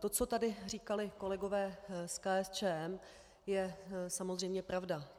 To, co tady říkali kolegové z KSČM, je samozřejmě pravda.